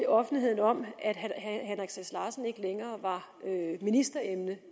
offentligheden om at herre henrik sass larsen ikke længere var ministeremne